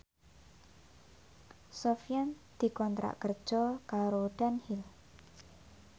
Sofyan dikontrak kerja karo Dunhill